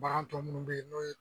Bagan tɔ munnu bɛ yen n'o ye